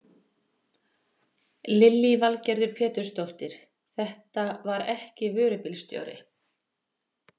Lillý Valgerður Pétursdóttir: Þetta var ekki vörubílstjóri?